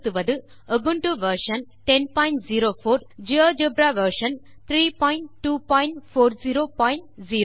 Ubuntu version 1004 LTS GeoGebra version 32400 ஆகியவற்றை பயன்படுத்துகிறோம்